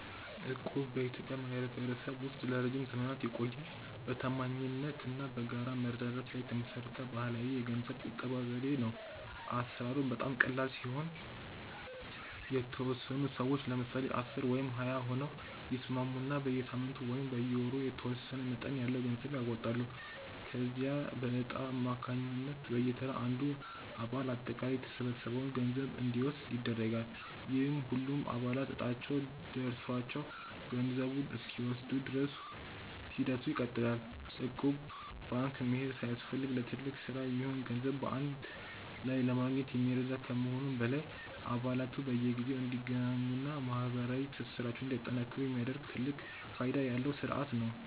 እቁብ በኢትዮጵያ ማኅበረሰብ ውስጥ ለረጅም ዘመናት የቆየ፣ በታማኝነት እና በጋራ መረዳዳት ላይ የተመሠረተ ባሕላዊ የገንዘብ ቁጠባ ዘዴ ነው። አሠራሩም በጣም ቀላል ሲሆን፤ የተወሰኑ ሰዎች (ለምሳሌ 10 ወይም 20 ሆነው) ይስማሙና በየሳምንቱ ወይም በየወሩ የተወሰነ መጠን ያለው ገንዘብ ያዋጣሉ። ከዚያም በዕጣ አማካኝነት በየተራ አንዱ አባል አጠቃላይ የተሰበሰበውን ገንዘብ እንዲወስድ ይደረጋል፤ ይህም ሁሉም አባላት ዕጣቸው ደርሷቸው ገንዘቡን እስኪወስዱ ድረስ ሂደቱ ይቀጥላል። እቁብ ባንክ መሄድ ሳያስፈልግ ለትልቅ ሥራ የሚሆን ገንዘብ በአንድ ላይ ለማግኘት የሚረዳ ከመሆኑም በላይ፣ አባላቱ በየጊዜው እንዲገናኙና ማኅበራዊ ትስስራቸውን እንዲያጠናክሩ የሚያደርግ ትልቅ ፋይዳ ያለው ሥርዓት ነው።